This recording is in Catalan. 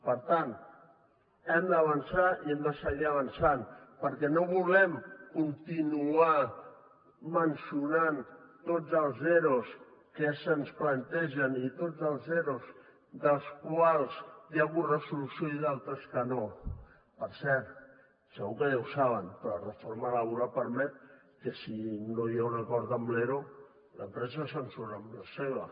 per tant hem d’avançar i hem de seguir avançant perquè no volem continuar esmentant tots els eros que se’ns plantegen i tots els eros amb els quals hi ha hagut solució i d’altres que no per cert segur que ja ho saben però la reforma laboral permet que si no hi ha un acord amb l’ero l’empresa se surt amb la seva